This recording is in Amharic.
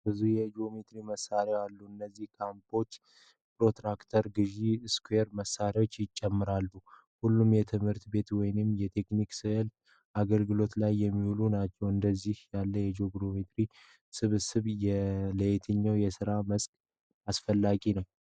ብዙ የጂኦሜትሪ መሳሪያዎች አሉ። እነዚህም ኮምፓስ፣ ፕሮትራክተር፣ ገዢዎችና ስኩዌር መሣሪያዎችን ይጨምራሉ። ሁሉም የትምህርት ቤት ወይም የቴክኒክ ስዕል አገልግሎት ላይ የሚውሉ ናቸው። እንደዚህ ያለ የጂኦሜትሪ ስብስብ ለየትኛው የስራ መስክ አስፈላጊ ነው?